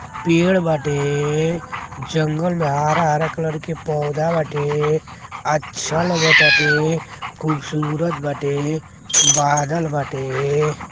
पेड़ बाटे। जंगल मे हरा-हरा कलर के पौधा बाटे। अच्छा लागताटे खूबसूरत बाटे बादल बाटे।